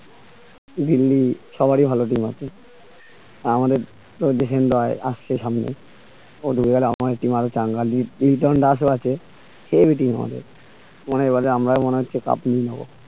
দিল্লী সবারই ভালো team আছে আমাদের প্রদওসিং রায় আসছে সামনে ওদের আর আমার team আরো চাঙ্গা লি লিটন দাস ও আছে heavy team আমাদের মানে ওটাতে আমরাই মনে হচ্ছে cup নিয়ে নেবো